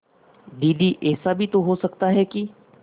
दीदी ऐसा भी तो हो सकता है कि